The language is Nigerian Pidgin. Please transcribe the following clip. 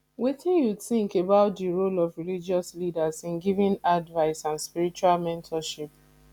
wetin you think about di role of religious leaders in giving advice and spiritual mentorship